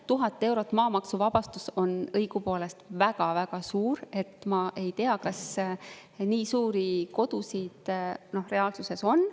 1000 eurot maamaksuvabastust on õigupoolest väga-väga suur, nii et ma ei tea, kas nii suuri kodusid reaalsuses on.